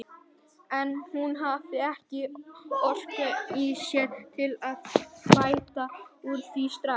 En hún hafði ekki orku í sér til að bæta úr því strax.